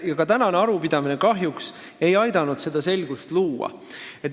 Ka tänane arupidamine ei aidanud kahjuks seda selgust luua.